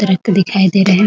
Truck दिखाई दे रहे हैं ।